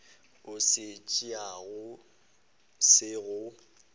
o se tšeago se go